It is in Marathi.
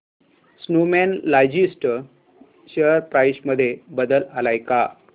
स्नोमॅन लॉजिस्ट शेअर प्राइस मध्ये बदल आलाय का